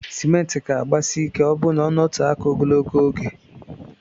Cement ga agbasi ike ọburụ na ọnọtee aka ogologo oge.